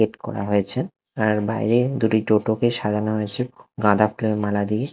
Gate করা হয়েছে আর বাইরে দুটি টোটোকে সাজানো হয়েছে গাঁদা ফুলের মালা দিয়ে ।